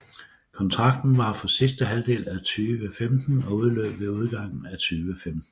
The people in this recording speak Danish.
Kontrakten var for sidste halvdel af 2015 og udløb ved udgangen af 2015